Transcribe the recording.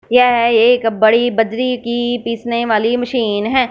यह एक बड़ी बजरी की पीसने वाली मशीन है।